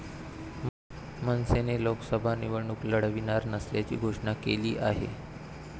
मनसेने लोकसभा निवडणूक लढविणार नसल्याची घोषणा केली आहे.